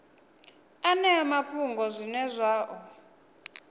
ṅeane mafhungo zwine zwa ḓo